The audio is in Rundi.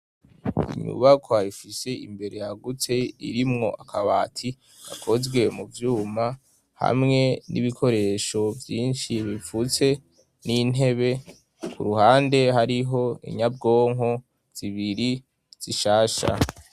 inyubako ifise imbere yagutse irimwo akabati akozwe mu vyuma hamwe n'ibikoresho vyinshi bipfutse n'intebe ku ruhande hariho inyabwonko zibiri zishasha